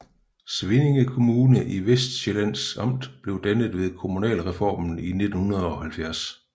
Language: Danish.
Svinninge Kommune i Vestsjællands Amt blev dannet ved kommunalreformen i 1970